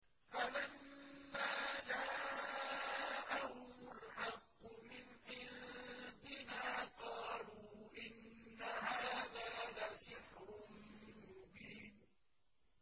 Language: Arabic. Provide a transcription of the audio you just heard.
فَلَمَّا جَاءَهُمُ الْحَقُّ مِنْ عِندِنَا قَالُوا إِنَّ هَٰذَا لَسِحْرٌ مُّبِينٌ